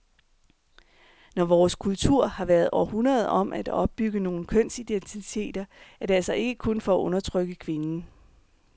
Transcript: Når vores kultur har været århundreder om at opbygge nogle kønsidentiteter, er det altså ikke kun for at undertrykke kvinden.